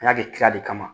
N'a bɛ tila de kama